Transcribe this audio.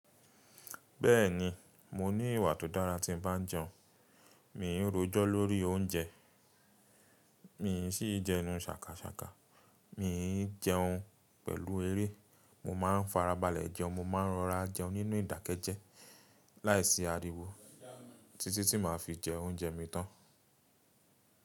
Bẹ́ẹ̀ni, mo ní ìwà tó dára tí ń bá jẹun. Mì í rojọ́ lórí oúnjẹ, mì í sì jẹun sàkàkàkà, mì í jẹun pẹ̀lú eré. Mo máa ń farabalẹ̀ jẹun, mo ma ń rọra jẹun nínú ìdákẹ́jẹ́ láìsí ariwo títí tí màá fi jẹ oúnjẹ mi tán.